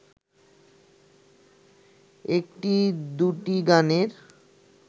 একটি-দুটি গানের